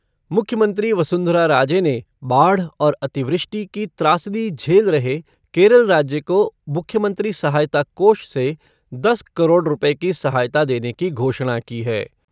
मुख्यमंत्री वसुन्धरा राजे ने बाढ़ और अतिवृष्टि की त्रासदी झेल रहे केरल राज्य को मुख्यमंत्री सहायता कोष से दस करोड़ रुपए की सहायता देने की घोषणा की है।